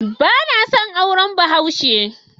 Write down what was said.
Bana son auren Bahaushe.